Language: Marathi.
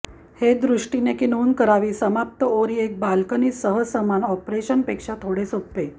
हे दृष्टीने की नोंद करावी समाप्त ओरी एक बाल्कनी सह समान ऑपरेशन पेक्षा थोडे सोपे